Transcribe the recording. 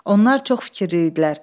Onlar çox fikirli idilər.